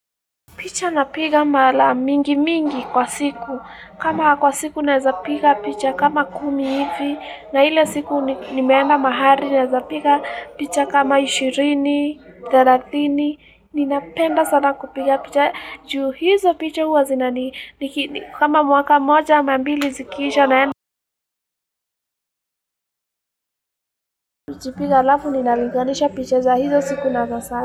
Picha napiga mara mingi mingi kwa siku. Kama kwa siku naeza piga picha kama kumi hivi. Na ile siku nimeenda mahali naeza piga picha kama 20, 30. Ninapenda sana kupiga picha. Juu hizo picha huwa zinani kama mwaka moja ama mbili zikiisha naenda. Najipiga alafu ninalinganisha picha za hizo siku na za sahii.